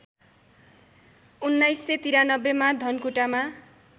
१९९३ मा धनकुटामा